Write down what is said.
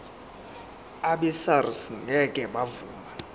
abesars ngeke bavuma